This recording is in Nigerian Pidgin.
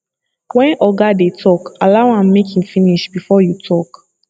when oga dey talk allow am make im finish before you talk